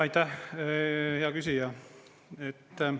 Aitäh, hea küsija!